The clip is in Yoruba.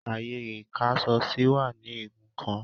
Ààyè ìkáṣọsí wà ní igun kan.